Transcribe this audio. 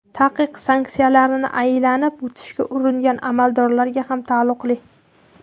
Taqiq sanksiyalarni aylanib o‘tishga uringan amaldorlarga ham taalluqli.